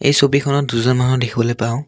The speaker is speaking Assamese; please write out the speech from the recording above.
ছবিখনত দুজন মানুহ দেখিবলৈ পাওঁ।